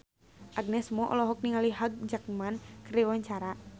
Agnes Mo olohok ningali Hugh Jackman keur diwawancara